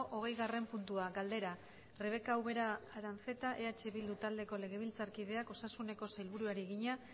hogeigarren puntua galdera rebeka ubera aranzeta eh bildu taldeko legebiltzarkideak osasuneko sailburuari egina